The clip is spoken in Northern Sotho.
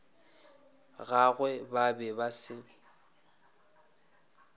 gagwe ba be ba se